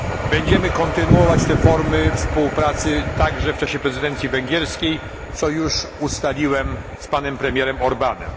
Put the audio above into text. Będziemy kontynuować te formy współpracy także w czasie prezydencji węgierskiej, co już ustaliłem z panem premierem Orbánem.